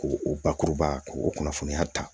K'o o bakuruba k'o kunnafoniya ta